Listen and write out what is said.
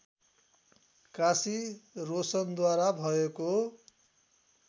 काशी रोशनद्वारा भएको